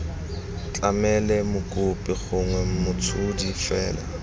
tlamele mokopi gongwe motshodi fela